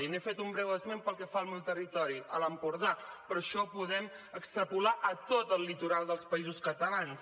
n’he fet un breu esment pel que fa al meu territori l’empordà però això ho podem extrapolar a tot el litoral dels països catalans